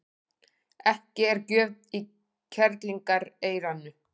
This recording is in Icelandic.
Ekki er gjöf í kerlingareyranu.